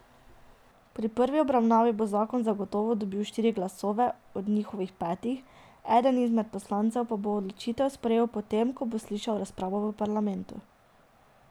Pri prvi obravnavi bo zakon zagotovo dobil štiri glasove od njihovih petih, eden izmed poslancev pa bo odločitev sprejel po tem, ko bo slišal razpravo v parlamentu.